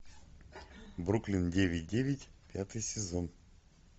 бруклин девять девять пятый сезон